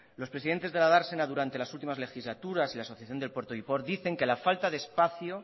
los presidentes de la dársena durante las últimas legislaturas y la asociación del puerto giport dicen que la falta de espacio